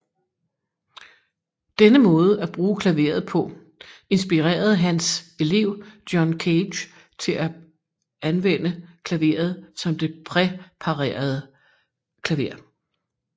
Denne måde at bruge klaveret på inspirerede Hans elev John Cage til at anvende klaveret som det præparerede klaver